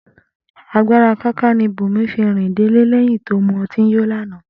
Agbára káká ni Bùnmi fi rìn délé lé̩yìn tó mu o̩tí yó lánàá